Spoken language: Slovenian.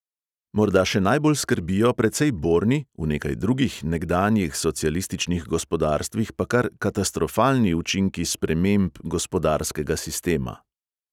Morda še najbolj skrbijo precej borni, v nekaj drugih nekdanjih socialističnih gospodarstvih pa kar katastrofalni učinki sprememb gospodarskega sistema.